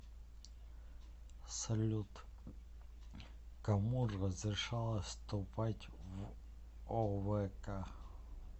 салют кому разрешалось вступать в овк